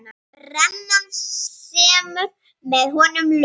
Brennan semur með honum lög.